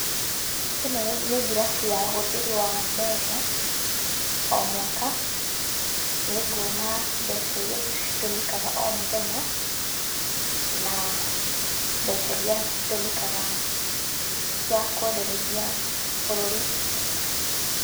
Ĩno nĩ ngirabu ya ũhũthĩri wa mbeca, o mwaka. Nĩnguona mbeca iria citũmĩkaga o mũthenya, na mbeca iria citũmĩkaga cia kwendereithia bũrũri.